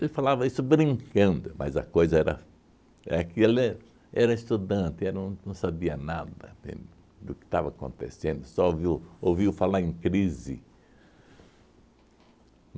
Ele falava isso brincando, mas a coisa era é que ele era estudante, era um não sabia nada, entende? Do que estava acontecendo, só viu ouviu falar em crise.